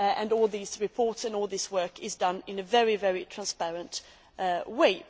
All these reports and all this work is done in a very transparent way.